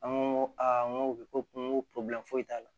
An ko aa n ko u bɛ ko n go foyi t'a la